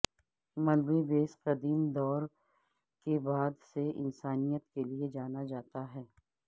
ملبے بیس قدیم دور کے بعد سے انسانیت کے لئے جانا جاتا ہے